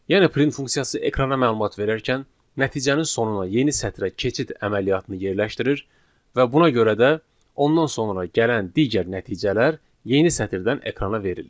Yəni print funksiyası ekrana məlumat verərkən nəticənin sonuna yeni sətrə keçid əməliyyatını yerləşdirir və buna görə də ondan sonra gələn digər nəticələr yeni sətirdən ekrana verilir.